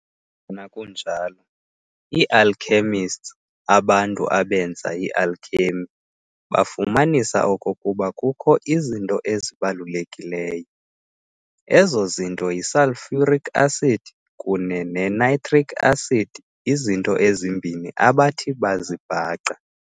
Nangona kunjalo, Ii-Alchemists, abantu abenza i-alchemy, bafumanisa okokuba kukho izinto ezibalulekileyo. Ezo zinto yi-Sulphuric acid kune ne-nitric acid izinto ezimbini abathi bazibhaqa.